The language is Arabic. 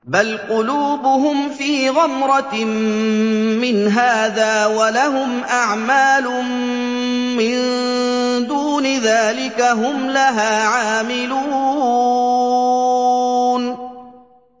بَلْ قُلُوبُهُمْ فِي غَمْرَةٍ مِّنْ هَٰذَا وَلَهُمْ أَعْمَالٌ مِّن دُونِ ذَٰلِكَ هُمْ لَهَا عَامِلُونَ